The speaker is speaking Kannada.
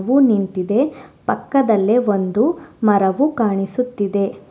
ಹೂ ನಿಂತಿದೆ ಪಕ್ಕದಲ್ಲೆ ಒಂದು ಮರವು ಕಾಣಿಸುತ್ತಿದೆ.